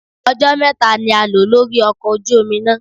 Ọjọ́ mẹ́ta ni a lò lórí ọkọ̀ ojú omi náà.